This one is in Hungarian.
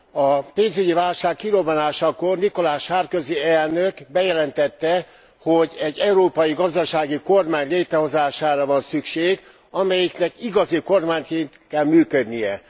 A pénzügyi válság kirobbanásakor Nicolas Sarközy elnök bejelentette, hogy egy európai gazdasági kormány létrehozására van szükség, amelyiknek igazi kormányként kell működnie.